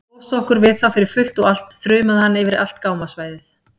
Losa okkur við þá fyrir fullt og allt, þrumaði hann yfir allt gámasvæðið.